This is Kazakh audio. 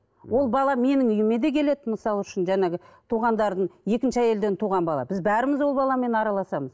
ол бала менің үйіме де келеді мысалы үшін жаңағы туғандардың екінші әйелден туған бала біз бәріміз ол баламен араласамыз